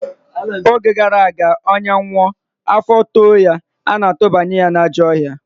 Oge gara aga, onye nwụọ, afọ too ya, ana-atụbanye n'ajọ ọhịa